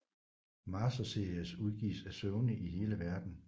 Master Series udgives af Sony i hele Verden